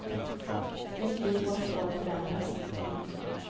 Mitt liv håller på att förändras. punkt